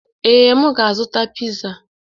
Ee, m ga-azụta piza.